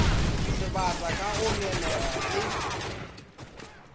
sebata ka go ngenega ke